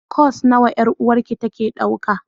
Course nawa 'yar'uwarki take dauka?